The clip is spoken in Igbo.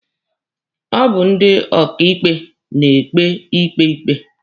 Ọ bụ ndị ọkaịkpe na-ekpe ikpe ikpe.